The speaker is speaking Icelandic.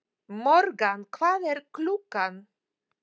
Morgan, hvað er klukkan?